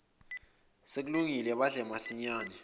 sekulungile badle masinyane